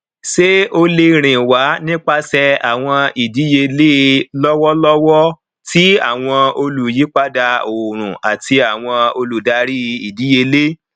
ṣé o le rìn wá nípasẹ àwọn ìdíyelé lọwọlọwọ ti àwọn olùyípadà oorun ati awọn oludari idiyele